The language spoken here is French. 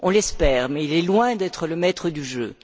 On l'espère, mais il est loin d'être le maître du jeu.